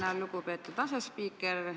Tänan, lugupeetud asespiiker!